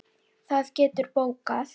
Það geturðu bókað.